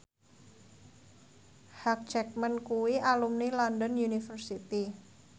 Hugh Jackman kuwi alumni London University